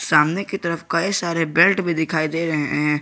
सामने की तरफ कई सारे बेल्ट भी दिखाई दे रहे हैं।